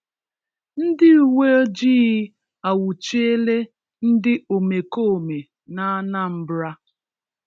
Ndị uweojii anwụchiela ndị omekome n'Anambra